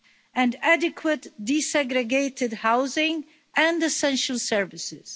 and adequate desegregated housing and essential services.